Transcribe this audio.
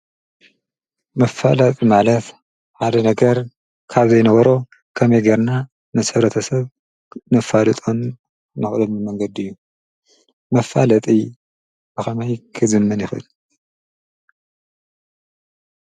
መፋላጢ ማለት ሓደ ነገር ካብ ዘይነበሮ ከመይገርና መሰብረተ ሰብ ነፋልጦን ናቕሎሚ መንገዲ እዩ መፋለጥ ኣኸማይ ክዝምን ይኽል።